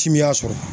Timinan sɔrɔ